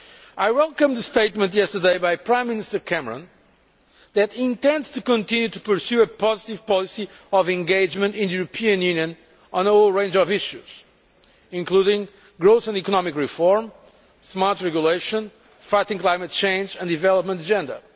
I welcome the statement made yesterday by Prime Minister Cameron that he intends to continue to pursue a positive policy of engagement in the European Union on a whole range of issues, including growth and economic reform, smart regulation, fighting climate change and the development agenda.